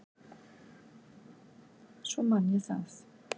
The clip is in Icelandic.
Svo man ég það.